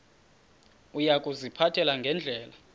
uya kuziphatha ngendlela